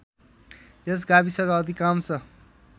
यस गाविसका अधिकांश